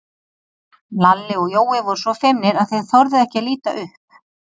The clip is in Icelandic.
Lalli og Jói voru svo feimnir að þeir þorðu ekki að líta upp.